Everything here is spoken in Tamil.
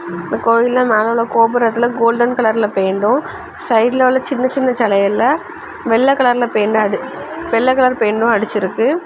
இந்த கோயில்ல மேல உள்ள கோபுரத்துல கோல்டன் கலர்ல பெயிண்டு சைடுல உள்ள சின்ன சின்ன சிலையல்ல வெள்ள கலர் பெயிண்ட்டு அடிச்சிருக்கு.